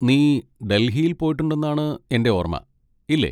നീ ഡൽഹിയിൽ പോയിട്ടുണ്ടെന്നാണ് എൻ്റെ ഓർമ്മ, ഇല്ലേ?